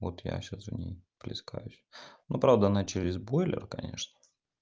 вот я сейчас в ней плескаюсь но правда она через бойлер конечно